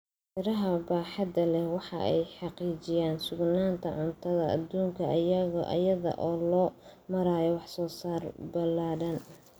Beeraha baaxadda leh waxa ay xaqiijiyaan sugnaanta cuntada adduunka iyada oo loo marayo wax soo saar ballaadhan.